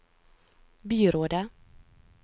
byrådet